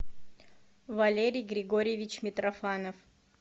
валерий григорьевич митрофанов